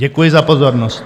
Děkuji za pozornost.